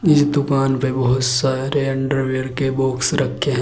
इस दुकान पे बहोत सारे अंडरवियर के बॉक्स रखे हैं।